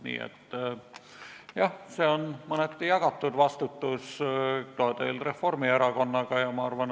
Nii et jah, see on teil mõneti Reformierakonnaga jagatud vastutus.